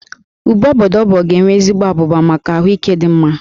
Úbè obobdo ga-enwe ezigbo abụba maka ahụike dị mma